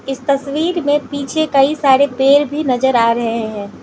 इस तस्वीर में पीछे कई सारे पेड़ भी नजर आ रहे है।